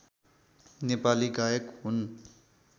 नेपाली गायक हुन्